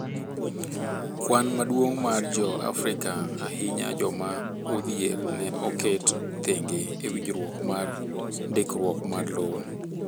kuan maduong' mar jo afrika ahinya joma odhier, ne oket thenge e winjruok mar ndikruok mar lowo